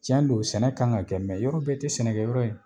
Tiɲɛ don sɛnɛ kan ka kɛ , yɔrɔ bɛɛ tɛ sɛnɛkɛ yɔrɔ ye.